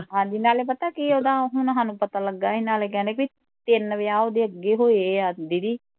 ਹਾਂਜੀ ਨਾਲੈ ਪਤਾ ਕੀ ਓਹਦਾ ਹੁਣ ਸਾਨੂੰ ਪਤਾ ਲਗਾ ਨਾਲੇ ਕਹਿੰਦੇ ਬਈ ਤਿੰਨ ਵਿਆਹ ਉਹਦੇ ਅੱਗੇ ਹੋਏ ਆ ਦੀਦੀ